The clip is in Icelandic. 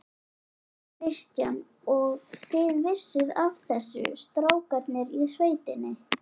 Kristján: Og þið vissuð af þessu, strákarnir í sveitinni?